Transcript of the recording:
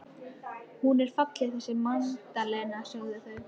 Hún er falleg þessi Magdalena, sögðu þau.